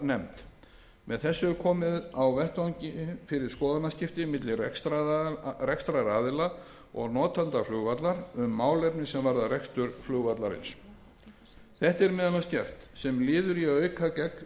notendanefnd með þessu er komið á vettvangi fyrir skoðanaskipti milli rekstraraðila og notenda flugvallar um málefni sem varða rekstur flugvallarins þetta er meðal annars gert sem liður í að auka